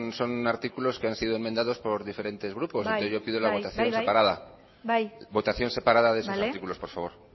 son artículos que han sido enmendados por diferentes grupos entonces yo pido la votación separada bai bai votación separada de esos artículos por favor